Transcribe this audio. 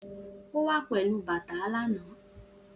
O wa pelu bata lana